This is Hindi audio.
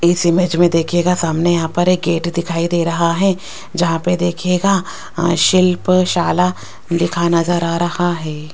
इस इमेज में देखिएगा सामने यहां पर एक गेट दिखाई दे रहा है जहां पे देखिएगा शिल्प शाला लिखा नजर आ रहा है।